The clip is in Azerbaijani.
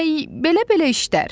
Demək, belə-belə işlər.